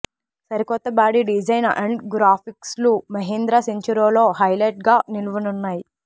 సరికొత్త body design and గ్రాఫిక్స్లు మహీంద్రా సెంచురోలో హైలైట్గా నిలువనున్నాయి